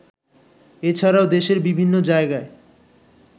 এছাড়াও দেশের বিভিন্ন জায়গায়